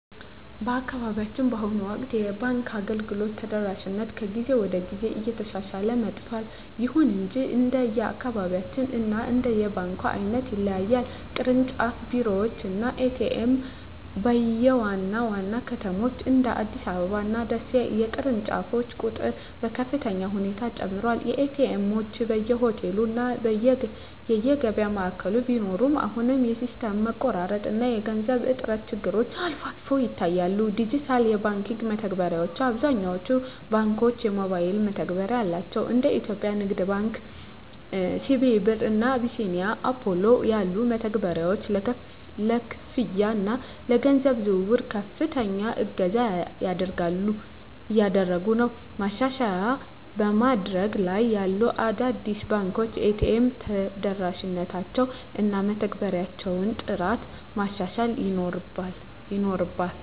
በአካባቢያችን በአሁኑ ወቅት የባንክ አገልግሎት ተደራሽነት ከጊዜ ወደ ጊዜ እየተሻሻለ መጥቷል። ይሁን እንጂ እንደየአካባቢው እና እንደ ባንኩ ዓይነት ይለያያል። ቅርንጫፍ ቢሮዎች እና ኤ.ቲ.ኤም (ATM): በዋና ዋና ከተሞች (እንደ አዲስ አበባ እና ደሴ) የቅርንጫፎች ቁጥር በከፍተኛ ሁኔታ ጨምሯል። ኤ.ቲ. ኤምዎች በየሆቴሉ እና የገበያ ማዕከላት ቢኖሩም፣ አሁንም የሲስተም መቋረጥ እና የገንዘብ እጥረት ችግሮች አልፎ አልፎ ይታያሉ። ዲጂታል የባንክ መተግበሪያዎች: አብዛኞቹ ባንኮች የሞባይል መተግበሪያ አላቸው። እንደ የኢትዮጵያ ንግድ ባንክ (CBE Birr) እና አቢሲኒያ ባንክ (Apollo) ያሉ መተግበሪያዎች ለክፍያ እና ለገንዘብ ዝውውር ከፍተኛ እገዛ እያደረጉ ነው። ማሻሻያ በማደግ ላይ ያሉ አዳዲስ ባንኮች የኤ.ቲ.ኤም ተደራሽነታቸውን እና የመተግበሪያዎቻቸውን ጥራት ማሻሻል ይኖርባ